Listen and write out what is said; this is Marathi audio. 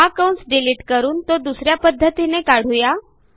हा कंस डिलिट करून तो दुस या पध्दतीने काढू या